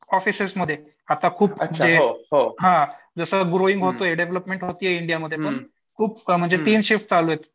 offices मध्ये आता खूप असं जसं ग्रोविंग होतोय डेव्हलपमेंट होतीये इंडियामध्ये पण खूप म्हणजे तीन शिफ्ट चालूयेत